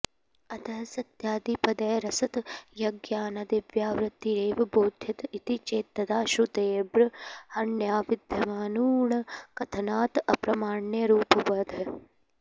अतः सत्यादिपदैरसत्याज्ञानादिव्यावृत्तिरेव बोध्यत इति चेत्तदा श्रुतेर्ब्रह्मण्यविद्यमानुणकथनात् अप्रामाण्यरुपो बाधः